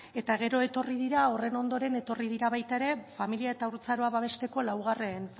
eta gero horren ondoren etorri dira baita ere familia eta haurtzaroa babesteko laugarren